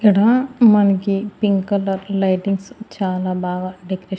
ఇడా మన్కి pink colour lightings చాలా బాగా డెకరేట్ --